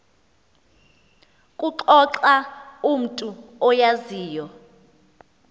kuxoxa umntu oyaziyo